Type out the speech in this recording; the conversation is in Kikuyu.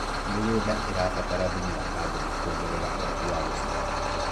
mĩgũnda irabatara thumu wa carbon kuongerera uhoti wa guciara